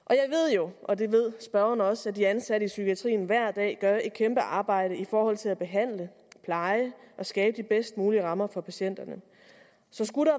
jo og det ved spørgeren også at de ansatte i psykiatrien hver dag gør et kæmpe arbejde i forhold til at behandle pleje og skabe de bedst mulige rammer for patienterne så skulle